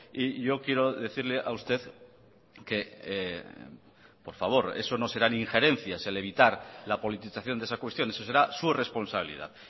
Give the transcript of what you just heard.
y yo quiero decirle a usted que por favor eso no serán injerencias el evitar la politización de esa cuestión eso será su responsabilidad